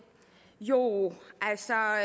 jo altså